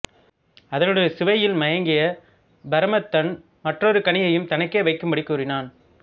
அதனுடைய சுவையில் மயங்கிய பரமதத்தன் மற்றொரு கனியையும் தனக்கே வைக்கும்படி கூறினான்